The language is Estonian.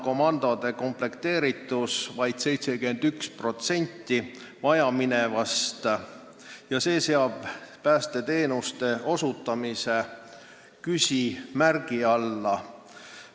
Komandode komplekteeritus on vaid 71% vajaminevast ja see seab päästeteenuste osutamise küsimärgi alla.